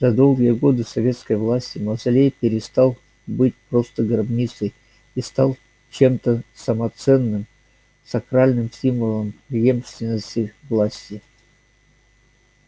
за долгие годы советской власти мавзолей перестал быть просто гробницей и стал чем-то самоценным сакральным символом преемственности власти